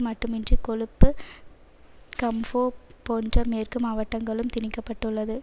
மட்டுமின்றி கொழுப்பு கம்ஹோப் போன்ற மேற்கு மாவட்டங்களும் திணிக்க பட்டுள்ளது